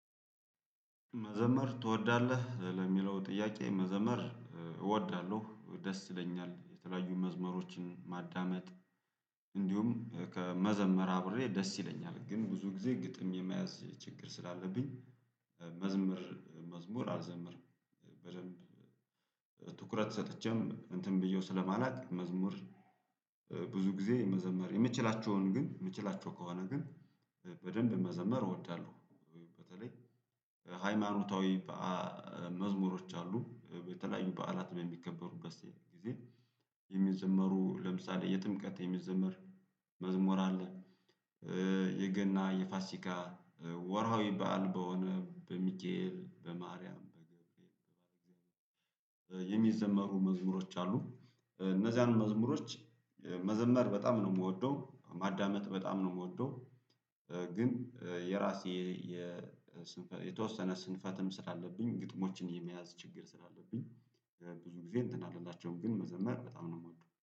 መዘመር ትወዳለህ ለሚለው ጥያቄ መዘመር እ እወዳለሁ ደስ ይለኛል የተለያዩ መዝመሮችን ማዳመጥ። እንዲሁም ከመዘመር አብሬ ደስ ይለኛል ግን ብዙ ጊዜ ግጥም የመያዝ ችግር ስላለብኝ። መዝመር መዝሙር አልዘምርም። በደንብ እ ትኩረት ሰጥቼም እንትን ብዬው ስለማላውቅ መዝሙር ብዙ ጊዜ መዘመር የምችላቸውን ግን ምችላቸው ከሆነ ግን እ በደንብ መዘመር እወዳለሁ። በተለይ ሃይማኖታዊ በአ መዝሙሮች አሉ የተለያዩ በዓላት የሚከበሩበት ጊዜ የሚዘመሩ ለምሳሌ የጥምቀት የሚዘመር መዝሙር አለ። እ የገና የፋሲካ እ ወርሃዊ በዓል በሆነ በሚካኢል በማርያም በገብርኤል በእግዚአብሔር እ የሚዘመሩ መዝሙሮች አሉ። እ እነዚያን እ መዝሙሮች መዘመር በጣም ነው ምወደው ማዳመጥ በጣም ነው የምወደው። ግን እ የራሴ የስንፈ የተወሰነ ስንፈትም ስላለብኝ ግጥሞችን የመያዝ ችግር ስላለብኝ። ብዙ ጊዜ እንትን አልላቸውም ግን መዘመር በጣም ነው ምወደው